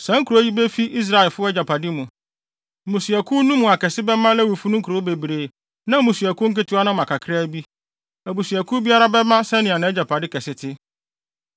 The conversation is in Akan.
Saa nkurow yi befi Israelfo no agyapade mu. Mmusuakuw no mu akɛse bɛma Lewifo no nkurow bebree na mmusuakuw nketewa no ama kakraa bi. Abusuakuw biara bɛma sɛnea nʼagyapade kɛse te.”